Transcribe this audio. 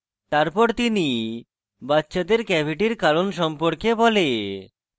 তারপর তিনি বাচ্চাদের ক্যাভিটির কারণ সম্পর্কে বলে